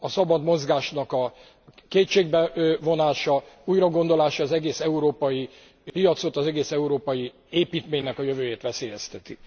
A szabad mozgásnak a kétségbe vonása, újragondolása az egész európai piacot, az egész európai építménynek a jövőjét veszélyezteti.